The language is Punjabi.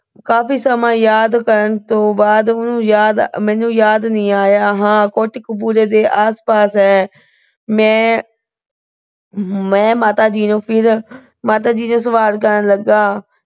ਕਾਫੀ ਸਮਾਂ ਯਾਦ ਕਰਨ ਤੋਂ ਬਾਅਦ ਉਹਨੂੰ ਅਹ ਮੈਨੂੰ ਯਾਦ ਨੀ ਆਇਆ। ਹਾਂ ਕੋਟਕਪੂਰੇ ਦੇ ਆਸ-ਪਾਸ ਹੈ। ਮੈਂ ਅਹ ਮੈਂ ਮਾਤਾ ਜੀ ਨੂੰ ਅਹ ਫਿਰ ਮਾਤਾ ਜੀ ਨੂੰ ਸਵਾਲ ਕਰਨ ਲੱਗਾ।